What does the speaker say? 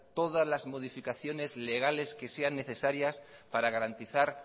todas las modificaciones legales que sean necesarias para garantizar